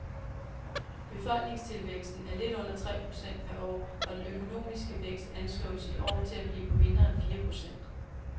Befolkningstilvæksten er lidt under tre procent per år og den økonomiske vækst anslås i år til at blive på mindre end fire procent.